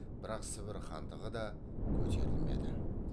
бірақ сібір хандығы да көтерілмеді